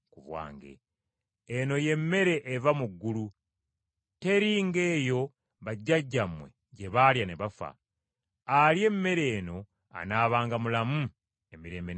Eno ye mmere eva mu ggulu. Teri ng’eyo bajjajjammwe gye baalya ne bafa. Alya emmere eno anaabanga mulamu emirembe n’emirembe.”